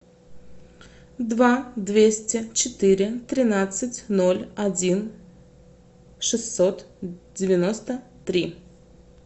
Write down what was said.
два двести четыре тринадцать ноль один шестьсот девяносто три